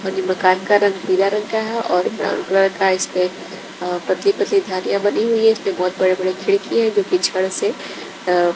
इन मकान का रंग पीला रंग का है और ब्राउन कलर का इसपे अ पतली-पतली धारिया बनी हुई है इसपे बहोत बड़े-बड़े खिड़की है जो कि छड़ से अ --